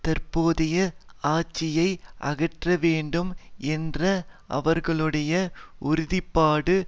தற்போதைய ஆட்சியை அகற்றவேண்டும் என்ற அவர்களுடைய உறுதிப்பாடு